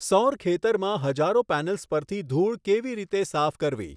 સૌર ખેતરમાં હજારો પૅનલ્સ પરથી ધૂળ કેવી રીતે સાફ કરવી?